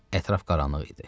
Ətraf qaranlıq idi.